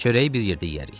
Çörəyi bir yerdə yeyərik.